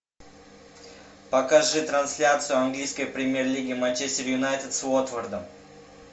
покажи трансляцию английской премьер лиги манчестер юнайтед с уотфордом